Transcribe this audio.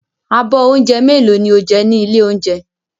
Abọ́ oúnjẹ mélòó ni ó jẹ ní ilé-oúnjẹ?